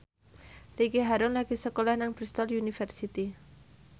Ricky Harun lagi sekolah nang Bristol university